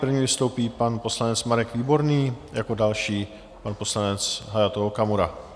První vystoupí pan poslanec Marek Výborný, jako další pan poslanec Hayato Okamura.